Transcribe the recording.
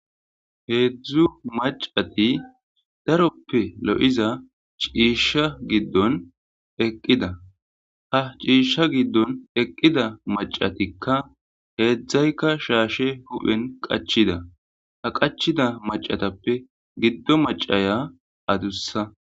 heedzdzu macati daroppe lo7iza ciisha giddon eqqida ha ciishsha giddon eqqida macatikka heedzdzaykka shaashe hu7en qachida ha qachida macatappe giddo macaya adussa.